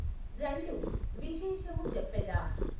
రండు విశేషము చెప్పెద.